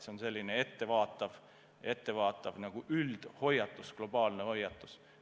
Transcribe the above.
See on selline ettevaatav globaalne hoiatus.